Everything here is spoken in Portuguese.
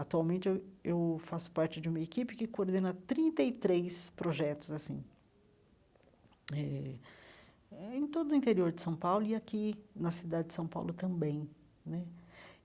Atualmente, eu eu faço parte de uma equipe que coordena trinta e três projetos assim eh, em todo o interior de São Paulo e aqui na cidade de São Paulo também né.